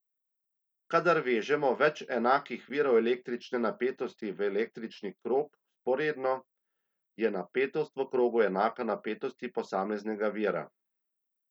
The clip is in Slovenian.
Kadar vežemo več enakih virov električne napetosti v električni krog vzporedno, je napetost v krogu enaka napetosti posameznega vira.